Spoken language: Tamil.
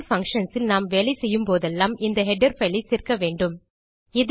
ஸ்ட்ரிங் functionsல் நாம் வேலை செய்யும்போதெல்லாம் இந்த ஹெடர் பைல் ஐ சேர்க்க வேண்டும்